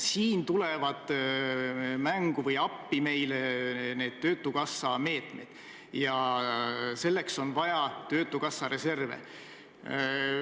Siin tulevad mängu või appi töötukassa meetmed ja selleks on vaja töötukassa reserve.